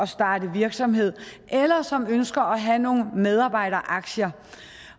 starte virksomhed eller som ønsker at have nogle medarbejderaktier